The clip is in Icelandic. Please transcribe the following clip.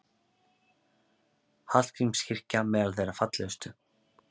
Hallgrímskirkja meðal þeirra fallegustu